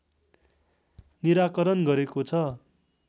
निराकरण गरेको छ।